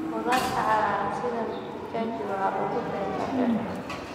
Khudaarta cagaaran sida mchichaji waxaa lagu beeraa beerta.